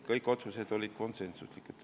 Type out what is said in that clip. Kõik otsused olid konsensuslikud.